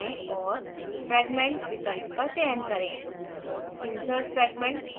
insert पर जाएँ और fragment विकल्प का चयन करें